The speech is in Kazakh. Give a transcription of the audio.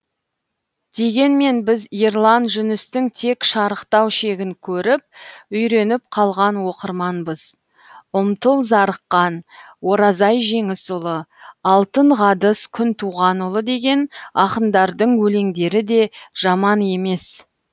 дегенмен біз ерлан жүністің тек шарықтау шегін көріп үйреніп қалған оқырманбыз ұмтыл зарыққан оразай жеңісұлы алтынғадыс күнтуғанұлы деген ақындардың өлеңдері де жаман емес